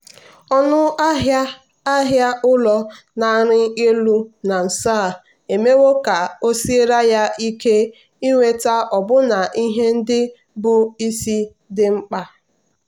ọnụ ahịa ahịa ụlọ na-arị elu na nso a emewo ka o siere ya ike inweta ọbụna ihe ndị bụ́ isi dị mkpa.